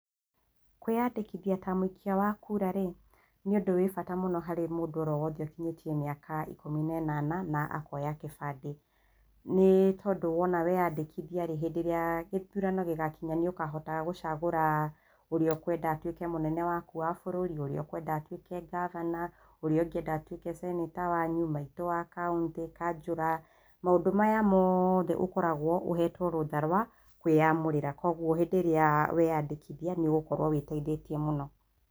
Kwĩyandĩkithia ta mũikia wa kura nĩ ũndũ wa bata harĩ o mũndũ o wothe ũkinyĩtie mĩaka ikũmi na ĩnana na akoya kĩbandĩ. Nĩ tondũ wona weyandĩkithia-rĩ, hĩndĩ ĩrĩa gĩthurano gĩgakinya rĩ nĩ ũkahota gũcagũra ũrĩa ũkwenda atuĩke mũnene waku wa bũrũri, ũrĩa ũkwenda atwĩke gavana, ũrĩa ũngĩenda atuĩke ceneta wanyu, maitũ wa kautĩ, kanjũra. Maũndũ maya mothe ũkoragwo ũhetwo rũtha rw kwĩamũrĩra, kwoguo rĩrĩa weyandĩkithia nĩ ũgũkorwo wĩteithĩtie mũno.